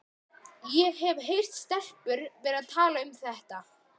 Ég hef heyrt stelpur vera að tala um þetta.